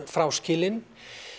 fráskilinn